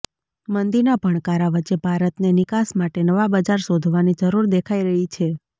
મંદીના ભણકારા વચ્ચે ભારતને નિકાસ માટે નવા બજાર શોધવાની જરૂર દેખાઇ રહી છે